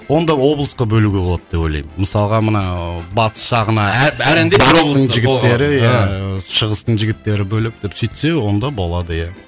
онда облысқа бөлуге болады деп ойлаймын мысалға мына ыыы батыс жағына батыстың жігіттері иә шығыстың жігіттері бөлек деп сөйтсе онда болады иә